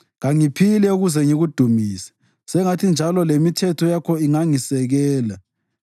Ngiphambukile njengemvu elahlekileyo. Yidinge inceku yakho, ngoba kangikayikhohlwa imilayo yakho.